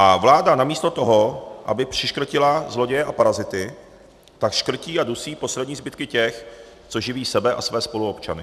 A vláda namísto toho, aby přiškrtila zloděje a parazity, tak škrtí a dusí poslední zbytky těch, co živí sebe a své spoluobčany.